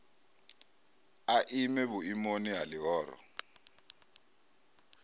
a ime vhuimoni ha ḽihoro